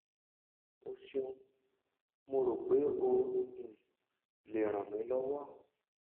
o ṣeun mo ro pe o um le ran mi lọwọ